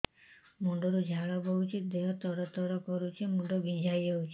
ମୁଣ୍ଡ ରୁ ଝାଳ ବହୁଛି ଦେହ ତର ତର କରୁଛି ମୁଣ୍ଡ ବିଞ୍ଛାଇ ହଉଛି